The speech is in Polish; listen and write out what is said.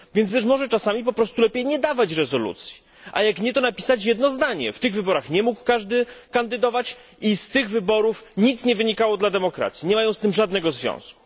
Więc być może czasami po prostu nie dawać rezolucji, a jak nie, to napisać jedno zdanie w tych wyborach nie mógł każdy kandydować i z tych wyborów nic nie wynikało dla demokracji, nie mają z tym żadnego związku.